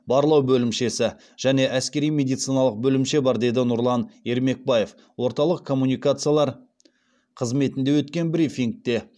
барлау бөлімшесі және әскери медициналық бөлімше бар деді нұрлан ермекбаев орталық коммуникациялар қызметінде өткен брифингте